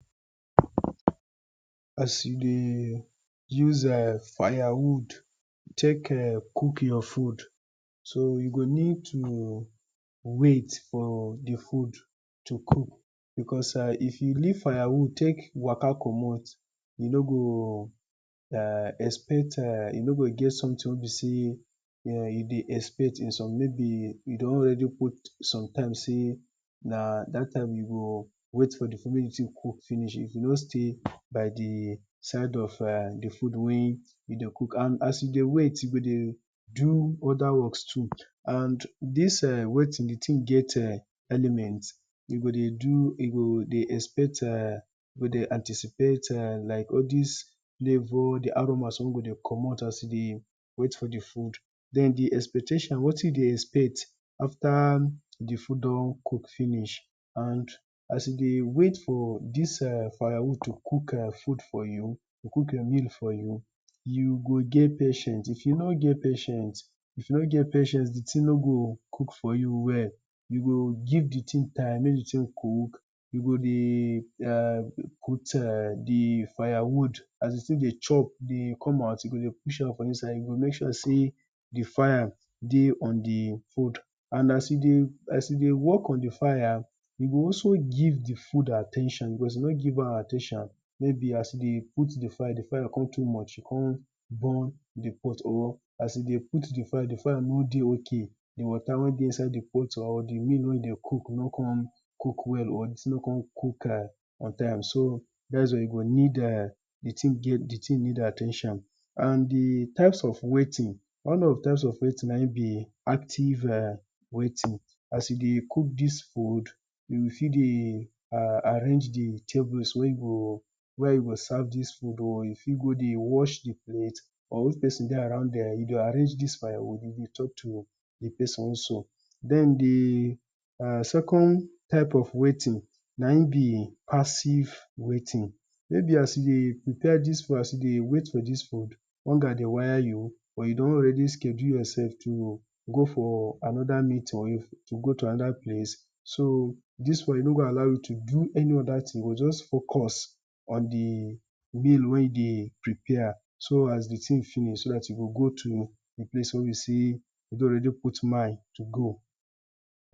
As you dey use firewood take cook for food, so you go need to wait for your food to cook because if you leave firewood take waka komot you no go get [urn] you no go expect something wey be sey you dey expect. Maybe you don ready put sometimes wey be sey na dat time you go wait for di food make di food cook finish, you no stay by di side of di food wey you dey cook, and as you dey wait, you go dey do oda works too and dis waiting di thing get oda elements, you go dey do you go dey expect you go dey anticipate like all dis flavor di aromas wey go dey komot as you dey wait for di food, den with di expectation waiting you dey expect after di food on cook finish, and as you dey wait for dis fire wood to cook food for you to cook meal for you, you go get patience if you no get patient, if you no get patient di thing no go cook for you well, you go give di thing time make di thing cook, you dey dey put di firewood as di thing dey chop dey komot out, you go dey push am for inside dey make sure sey di fire dey on di wood, and as you dey, you dey work on di fire you go also give di food at ten tion because of you no give am at ten tion maybe as you dey put di fire, di fire come too much you come burn di pot, or maybe as you dey put di fire, di fire no dey okay, di water wey dey inside di pot o di meal wey dey cook no come cook well or di thing no come cook on time. So dat is why you go need, di thing need at ten tion and di types of waiting, one of di types of wai ting na im be active waiting, as you dey cook dis food you fit dey arrange di tables wen you wey you go serve dis food or you fit go dey wash di plate, or if person dey around there you fit go dey arrange di s fire wood or dey talk to d person also den di second types of waiting na im be pass ive waiting, maybe as you dey prepare dis food as you dey wait for dis food, hunger dey wire you or you don ready schedule yourself to go for another meeting wey you to go to another place so dis one e no go allow you to do any oda thing e go just focus on di meal wen you dey prepare so as di thing finish you go go to di place wen you don already put mind to go.